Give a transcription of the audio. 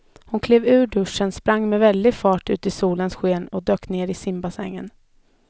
Hon klev ur duschen, sprang med väldig fart ut i solens sken och dök ner i simbassängen.